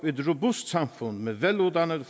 et robust samfund med veluddannede